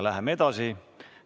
Läheme edasi.